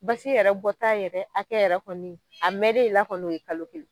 Basi yɛrɛ bɔ ta yɛrɛ hakɛ yɛrɛ kɔni , a mɛnnen i la kɔnɔ ye kalo kelen ye.